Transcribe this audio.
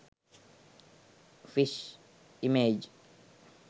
fish image